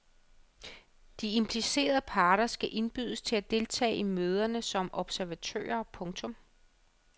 De implicerede parter skal indbydes til at deltage i møderne som observatører. punktum